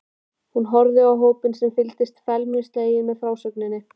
Hún horfði á hópinn sem fylgdist felmtri sleginn með frásögninni.